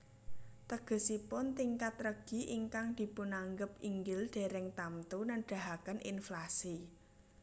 Tegesipun tingkat regi ingkang dipunanggep inggil dèrèng tamtu nedahaken inflasi